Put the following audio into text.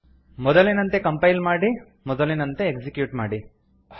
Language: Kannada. ಮೊದಲಿನಂತೆ ಕಂಪೈಲ್ ಮಾಡಿ ಮೊದಲಿನಂತೆ ಎಕ್ಸಿಕ್ಯೂಟ್ ಮಾಡಿ